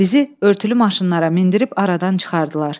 Bizi örtülü maşınlara mindirib aradan çıxardılar.